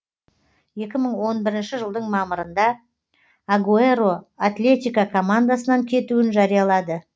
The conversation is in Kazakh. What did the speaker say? екі мың он бірінші жылдың мамырында агуэро атлетико командасынан кетуін жариялады